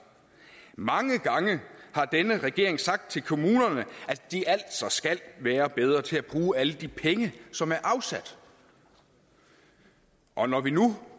mange gange har denne regering sagt til kommunerne at de altså skal være bedre til at bruge alle de penge som er afsat og når vi nu